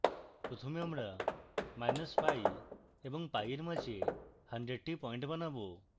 প্রথমে আমরা minus pi এবং pi এর মাঝে 100 pi পয়েন্ট বানাবো